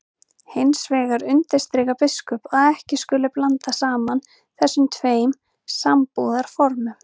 Hins vegar undirstrikar biskup að ekki skuli blanda saman þessum tveim sambúðarformum.